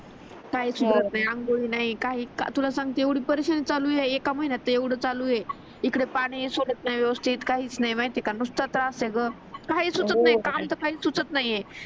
काही सुचत नाही आंघोळ नाही काहीच नाही तुला सांगते एवढी परेशानी चालू आहे या एका महिन्यात ते एवढा चालू आहे इकडे पाणी हि सोडत नाही व्यवस्तीत काहीच नाही माहिती आहे का नुसत त्रास होतो ग काहीच सुचत नाही काम तर काहीच सुचत नाही आहे